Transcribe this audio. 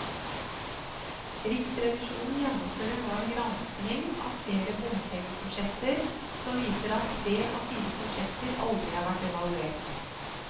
Riksrevisjonen gjennomfører nå en granskning av flere bompengeprosjekter, som viser at tre av fire prosjekter aldri har vært evaluert.